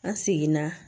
An seginna